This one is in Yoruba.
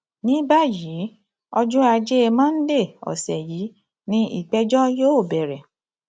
ní báyìí ọjọ ajé monde ọsẹ yìí ni ìgbẹjọ yóò bẹrẹ